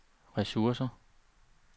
ressourcer